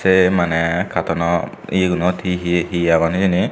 te mane katono yegunot hi hi hi agon hijeni.